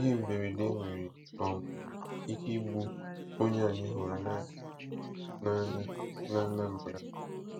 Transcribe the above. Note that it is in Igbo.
Ihe mberede nwere um ike igbu onye anyị hụrụ n'anya n'Anambra.